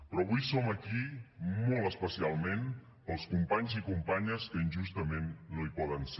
però avui som aquí molt especialment pels companys i companyes que injustament no hi poden ser